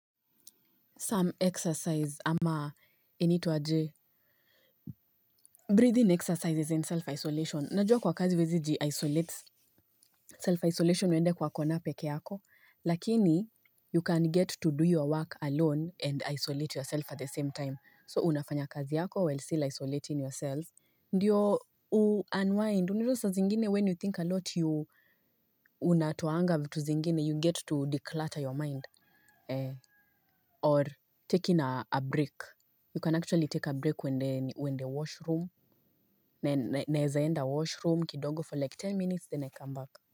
Some exercise ama inaitwa aje. Breathing exercises and self-isolation. Najua kwa kazi huwezi ji-isolate. Self-isolation ni uwende kwa kona peke yako. Lakini, you can get to do your work alone and isolate yourself at the same time. So, unafanya kazi yako while still isolating yourselves. Ndiyo u unwind. Unajua saa zingine when you think a lot you unatoanga vitu zingine. You get to declutter your mind. Or taking a break. You can actually take a break uende washroom. Naeza enda washroom kidogo for like ten minutes then I come back.